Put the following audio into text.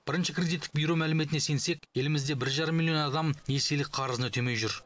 бірінші кредиттік бюро мәліметіне сенсек елімізде бір жарым миллион адам несиелік қарызын өтемей жүр